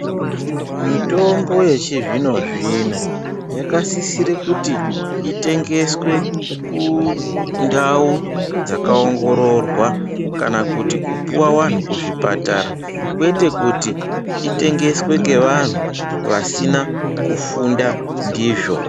Mitombo yechi zvino zvino yaka sisire kuti itengeswe ku ndau dzaka ongororwa kana kuti kupuwa vanhu ku chipatara kwete kuti itengeswe ne vanhu vasina kufunde ndizvo.